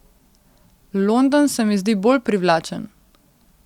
London se mi zdi bolj privlačen.